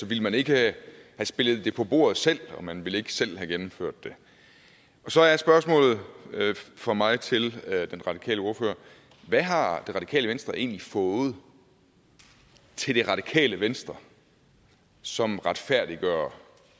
ville man ikke have spillet det på bordet selv og man ville ikke selv have gennemført det så er spørgsmålet fra mig til den radikale ordfører hvad har det radikale venstre egentlig fået til det radikale venstre som retfærdiggør